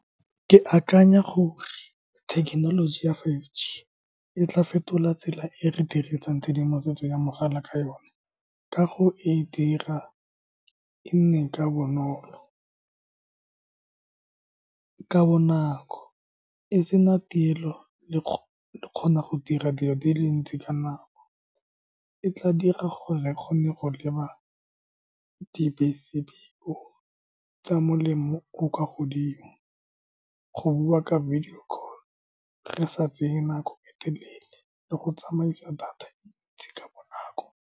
Ke akanya gore thekenoloji ya five G e tla fetola tsela e re dirisang tshedimosetso ya mogala ka yone. Kago e dira e nne ka bonolo, ka bonako, e sena tielo, le kgona go dira dilo di le ntsi ka nako. E tla dira gore a kgone go leba di bese tsa molemo o o kwa godimo, go bua ka video call re sa tseye nako e telele, le go tsamaisa data e ntsi ka bonako.